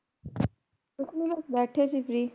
ਕੁਛ ਨੀ ਬਸ ਬੈੱਠੇ ਸੀ ਅਸੀਂ ਵੀ